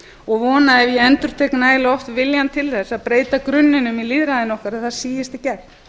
og vona ef ég endurtek nægilega oft viljann til að breyta grunninum í lýðræðisátt að það síist í gegn